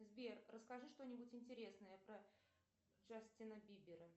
сбер расскажи что нибудь интересное про джастина бибера